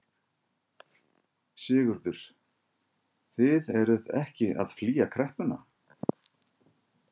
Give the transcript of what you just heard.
Sigurður: Þið eruð ekki að flýja kreppuna?